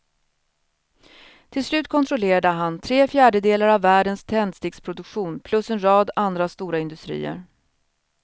Till slut kontrollerade han tre fjärdedelar av världens tändsticksproduktion plus en rad andra stora industrier.